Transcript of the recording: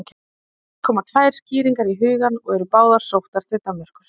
Helst koma tvær skýringar í hugann og eru báðar sóttar til Danmerkur.